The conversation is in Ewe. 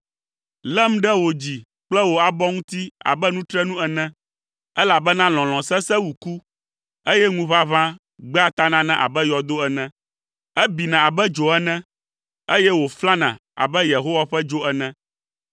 Lém ɖe wò dzi kple wò abɔ ŋuti abe nutrenu ene. Elabena lɔlɔ̃ sesẽ wu ku, eye ŋuʋaʋã gbea tanana abe yɔdo ene. Ebina abe dzo ene, eye wòflana abe Yehowa ƒe dzo ene.